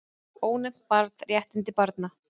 Ónefnt barn: Réttindi barna.